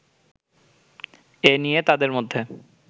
এ নিয়ে তাদের মধ্যে